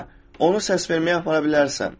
Hə, onu səs verməyə aparaa bilərsən.